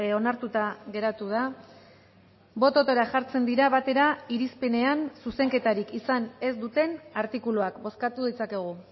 onartuta geratu da bototara jartzen dira batera irizpenean zuzenketarik izan ez duten artikuluak bozkatu ditzakegu